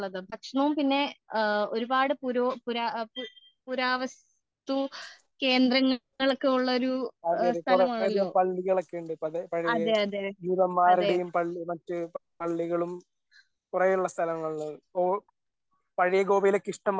ഭക്ഷണവും പിന്നെ ഒരുപാട് പുര പുരാവസ്തു കേന്ദ്രങ്ങളൊക്കെ ഉള്ള ഒരു സ്ഥലമാണല്ലോ അതേ അതേ അതേ